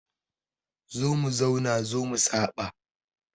Zo mu zauna zo mu saɓa